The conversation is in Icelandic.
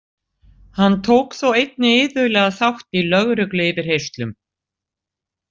Hann tók þó einnig iðulega þátt í lögregluyfirheyrslum.